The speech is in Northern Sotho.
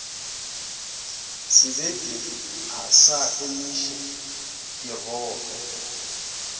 sebepi a sa emiše dirope